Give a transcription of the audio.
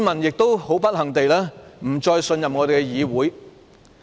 同時，不幸地，市民不再信任議會。